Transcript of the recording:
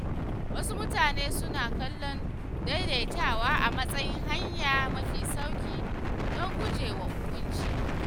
Wasu mutane suna kallon “daidaitawa” a matsayin hanya mafi sauƙi don gujewa hukunci.